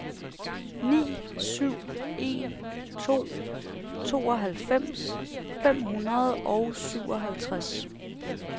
ni syv en to tooghalvfems fem hundrede og syvoghalvtreds